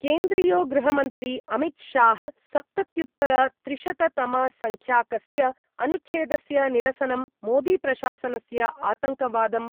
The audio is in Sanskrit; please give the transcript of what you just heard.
केन्द्रीयो गृहमन्त्री अमितशाह सप्तत्युत्तरत्रिशततमसंख्याकस्य अनुच्छेदस्य निरसनं मोदीप्रशासनस्य आतङ्कवादं